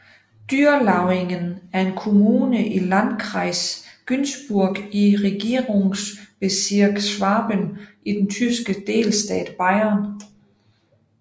Dürrlauingen er en kommune i Landkreis Günzburg i Regierungsbezirk Schwaben i den tyske delstat Bayern